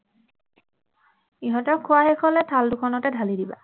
ইহঁতৰ খোৱা শেষ হলে থাল দুখনতে ঢালি দিবা